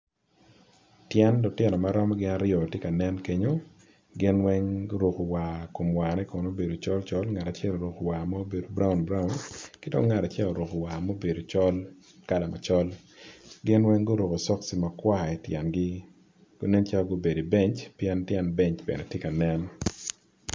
Tyen lutino aryo gitye ka nen kenyo gin weng guruko war kom war ne kono obedo col col ngat acel oruko war ma obedo brown brown kidong ngat acel oruko war ma obedo col kala macol gin weng guruko soksi makwar ityengi nen calo gubedo ibenc pien tyen benc bene tye ka nen.